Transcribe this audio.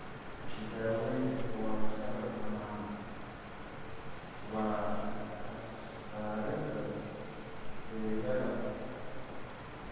Daawaynta doorashada badanaa waa ka saarida beeryarada (splenectomiga).